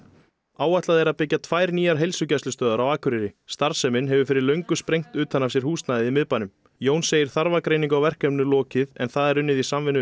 áætlað er að byggja tvær nýjar heilsugæslustöðvar á Akureyri starfsemin hefur fyrir löngu sprengt utan af sér húsnæðið í miðbænum Jón segir þarfagreiningu á verkefninu lokið en það er unnið í samvinnu